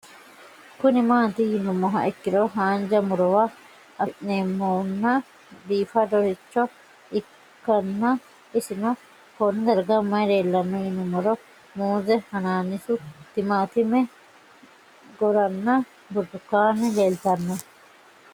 Kuni mati yinumoha ikiro hanja murowa afine'mona bifadoricho ikana isino Kone darga mayi leelanno yinumaro muuze hanannisu timantime gooranna buurtukaane leelitoneha